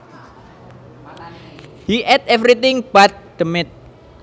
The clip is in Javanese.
He ate everything but the meat